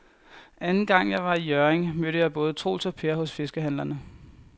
Anden gang jeg var i Hjørring, mødte jeg både Troels og Per hos fiskehandlerne.